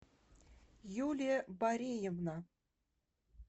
юлия бореевна